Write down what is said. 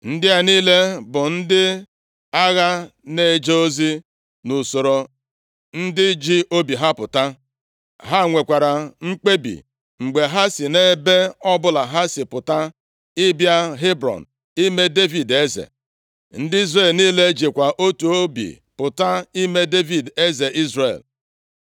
Ndị a niile bụ ndị agha na-eje ozi nʼusoro ndị ji obi ha pụta. Ha nwekwara mkpebi mgbe ha si ebe ọbụla ha si pụta ịbịa Hebrọn ime Devid eze. Ndị Izrel niile jikwa otu obi pụta ime Devid eze Izrel.